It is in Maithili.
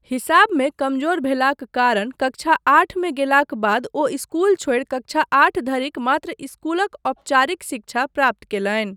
हिसाबमे कमजोर भेलाक कारण कक्षा आठमे गेलाक बाद ओ इस्कुल छोड़ि कक्षा आठ धरिक मात्र इस्कुलक औपचारिक शिक्षा प्राप्त कयलनि।